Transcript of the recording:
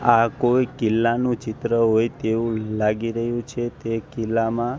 આ કોઈ કિલ્લાનું ચિત્ર હોય તેવુ લાગી રહ્યુ છે તે કિલ્લામાં--